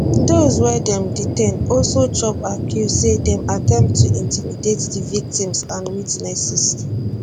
dose wey dem detain also chop accuse say dem attempt to intimidate di victims and witnesses